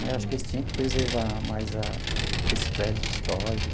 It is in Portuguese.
Né acho que eles tinha que preservar mais a que esses prédios históricos.